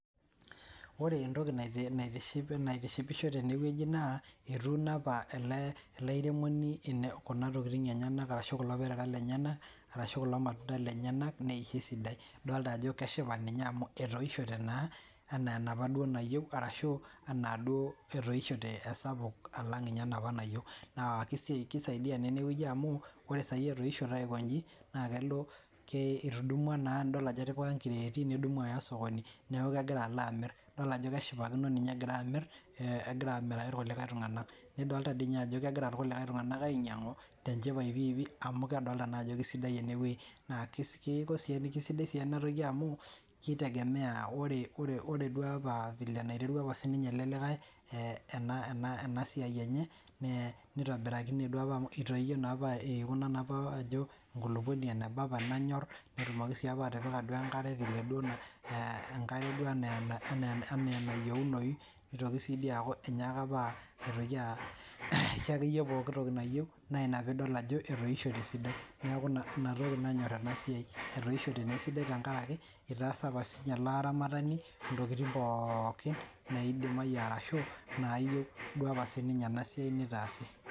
ore entoki naitishipisho tene weji naa atuuno apa ele airemoni kuna tokiting' enyenak aashu kulo perera lenyenak arashu kulo matunda lenyenak nee kesidai idoolta ajo keshipa ninye amu etoishote naa enaa enapaa duo nayieu ashuu enaa duo etoishote esapuk alang' enapaa ninye nayieu keisaidia naa ene weji amu ore saii etoishote aiko inji naa kelo etudumua naa idol ajo etupika inkireeti nedumu aya osokoni neeku kegira alo amirr nidol ajo keshipakino naa ninye egira amirr egira amiraki irkulikae tung'anak nidoolta tii inye ajo kegira irkulikae tung'anak ainyang'u piipii amu kedolta naa ajo keisidai ene wei naa keiko sii kesidai sii ena toki amu oree duo apa vile enaiterua apa sinye elde likae ena siai enye neitobirakine duo apa amu ekuna naa apa ajoo enkulukuoni eneba apa nanyorr peetumiki sii duo apa atipika enkare vile duoo enkare duoo enaa enayieunooyu neitokii sii dii aaku enyaaka apa aitoki aisho ake iye pooki tiki nayieu naa ina piidol ajo etoishote esidai neeku inatoki nanyorr ena siai etoishote naa esidai tenkaraki eitaasa apa sinye ele aramatani intokiting' pookinnaidimayu arashu inaayieu duoo apa sininye ena siai niitaasi.